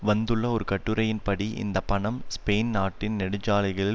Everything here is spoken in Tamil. வந்துள்ள ஒரு கட்டுரையின்படி இந்த பணம் ஸ்பெயின் நாட்டின் நெடுஞ்சாலைகளில்